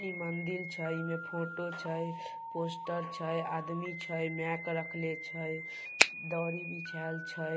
ई मंदिल छै इ मे फोटो छै पोस्टर छै आदमी छै मेक रखले छै दरी बिछाऐल छै